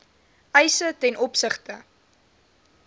eise ten opsigte